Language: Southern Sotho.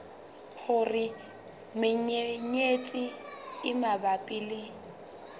hore menyenyetsi e mabapi le